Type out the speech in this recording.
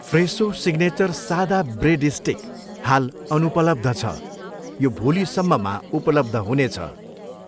फ्रेसो signature सादा bread stick हाल अनुपलब्ध छ, यो भोलि सम्ममा उपलब्ध हुनेछ।